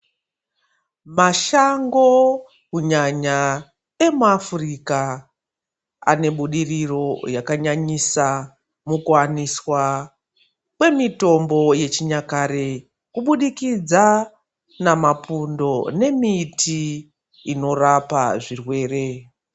Mashango, kunyanya emuAfrika anebudiriro yakanyanyisa mukuwaniswa kwemitombo yechinyakare kubudikidza namapundo nemiti inorapa zvirwere.